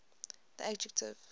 the adjective